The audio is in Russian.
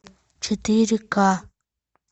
четыре ка